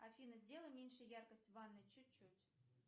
афина сделай меньше яркость в ванной чуть чуть